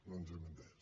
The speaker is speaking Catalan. no ens hem entès